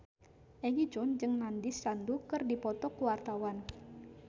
Egi John jeung Nandish Sandhu keur dipoto ku wartawan